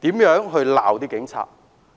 指罵警察。